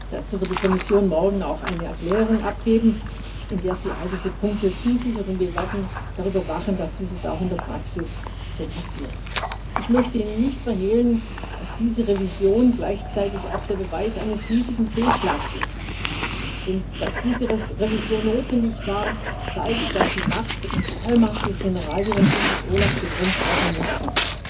Dazu wird die Kommission morgen auch eine Erklärung abgeben, in der sie all diese Punkte zusichert, und wir werden darüber wachen, dass dies auch in der Praxis so passiert. Ich möchte Ihnen nicht verhehlen, dass diese Revision gleichzeitig auch der Beweis eines riesigen Fehlschlags ist, denn dass diese Revision notwendig war, zeigt, dass die Macht und die Allmacht des Generaldirektors des OLAF begrenzt werden mussten.